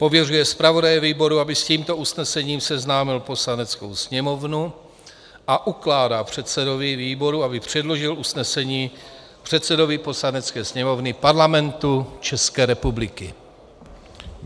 Pověřuje zpravodaje výboru, aby s tímto usnesením seznámil Poslaneckou sněmovnu, a ukládá předsedovi výboru, aby předložil usnesení předsedovi Poslanecké sněmovny Parlamentu České republiky.